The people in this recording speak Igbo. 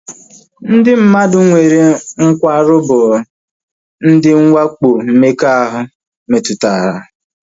Ndị mmadụ nwere nkwarụ bụ ndị nwakpo mmekọahụ metụtara